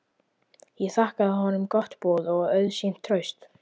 Ég þakkaði honum gott boð og auðsýnt traust.